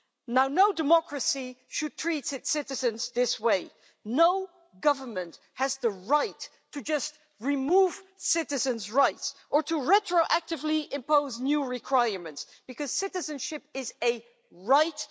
Now, no democracy should treat its citizens this way. No government has the right to just remove citizens' rights or to retroactively impose new requirements, because citizenship is a right.